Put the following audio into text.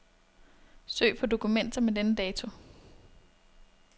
Søg på dokumenter med denne dato.